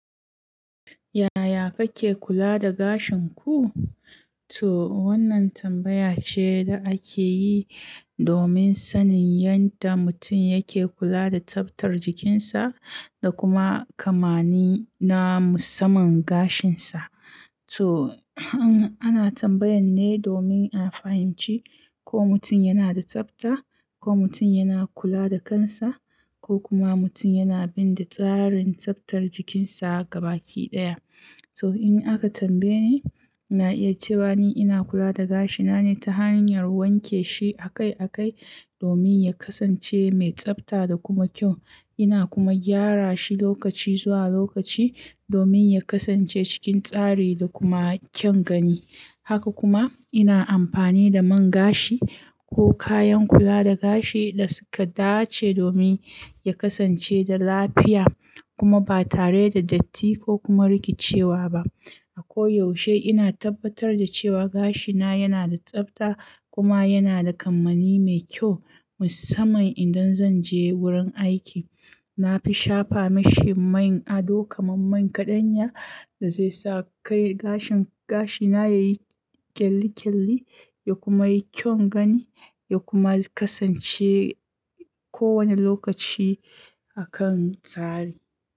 Yaya kake kula da gashin ku? To wannan tambaya ce da ake yi domin sanin yanda mutum yake kula da tsaftar jikinsa da kuma kamani na musamman gashinsa. To, ana tambayan ne domin a fahimci ko mutum yana da tsafta, ko mutum yana kula da kansa, ko kuma mutum yana bin da tsarin tsaftar jikinsa gaba ki ɗaya. So in aka tambaye ni, na iya cewa ni ina kula da gashina ne ta hanyar wanke shi akai akai domin ya kasance mai tsafta da kuma kyau. Ina kuma gyara shi lokaci zuwa lokaci domin ya kasance cikin tsari da kuma kyan gani. Haka kuma ina amfani da man gashi ko kayan kula da gashi da suka dace domin ya kasance da lafiya kuma ba tare da datti ko kuma rikicewa ba. A ko yaushe ina tabbatar da cewa gashina yana da tsafta kuma yana da kamanni mai kyau musamman idan zanje wurin aiki. Na fi shafa mashi man ado kamar man kaɗanya da zai sa kai gashin gashina yayi kyalli-kyalli ya kuma yi kyau gani ya kuma kasance kowane lokaci a kan tsari.